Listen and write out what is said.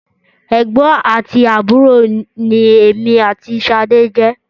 Ẹ̀gbọ́n àti àbúrò ni èmi àti Ṣadé jẹ́.